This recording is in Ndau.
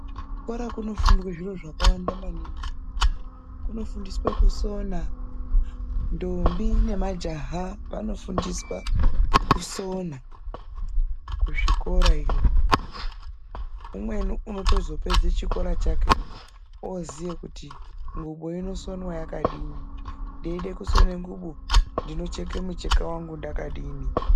Kuchikora kunofundwa zviro zvakawanda maningi. Kunofundiswe kusona, ndombi nemajaha anofundiswa kusona kuzvikora iyo. Umweni unotozopedze chikora chake oziye kuti ngubu inosonwa yakadini ndeide kusona ngubu ndinocheka mucheka wangu ndakadini.